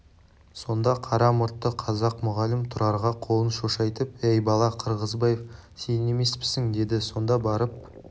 сонда қара мұртты қазақ мұғалім тұрарға қолын шошайтып әй бала қырғызбаев сен емеспісің деді сонда барып